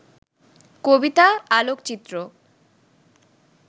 কবিতা, আলোকচিত্র